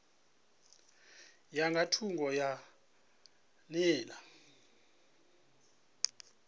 ya nga thungo ha nḓila